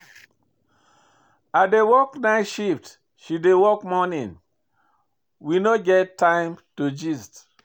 I dey work night shift, she dey work morning. We no get time to gist.